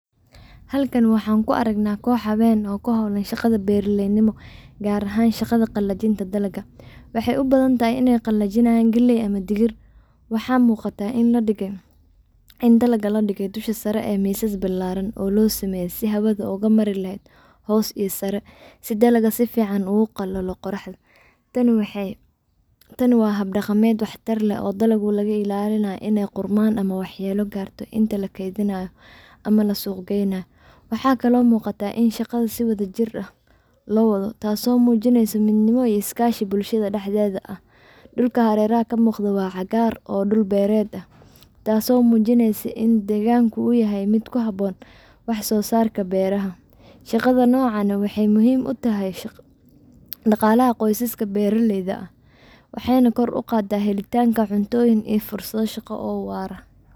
Halkan waxan ku aragnaa kox hawen oo ku howlan shaqada beeraley nimo, gaar ahan shaqada qalajinta dalaga, waxay ubadan tahay inay qalajinayan galey ama digir, waxaa muuqata in dalaga ladhige Dusha sare ee misas bilaaran oo loo sameeye si hawada oga mari leheyd hos iyo sare si dalaga si fican ogu qalalo qoraxda, tan waa hab dhaqameed wax tar leh oo dalagu laga ilaalinay inay qurman ama wax yelo garto inta la keedinayo ama la suq geynayo, waxakalo muuqata in shaqada si wada jir ah loo wado taaso munineyso mid nima iyo is kaashi bulshada dhaxdeda ah .dhulka hareeraha kamuqdo waa cagaar oo dhul beered ah taaso mujineyso in deegganku uu yahay mid ku habon wax soo sarka beeraha, shaqadan nocan waxay muhiim utahay dhaqalaha qosaska beeraleyda ah, waxay na kor uqaada helitanga cuntoyin iyo fursado shaqa oo waara